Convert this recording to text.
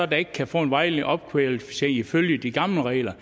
der ikke kan få en vejledende opkvalificering ifølge de gamle regler